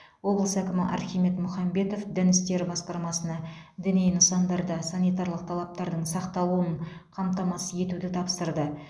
облыс әкімі архимед мұхамбетов дін істері басқармасына діни нысандарда санитарлық талаптардың сақталуын қамтамасыз етуді тапсырды